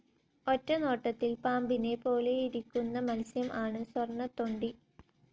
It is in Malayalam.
ഒറ്റനോട്ടത്തിൽ പാമ്പിനെ പോലെയിരിക്കുന്ന മത്സ്യം ആണ് സ്വർണ്ണത്തൊണ്ടി.